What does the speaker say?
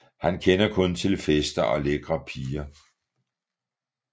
Han kender kun til fester og lækre piger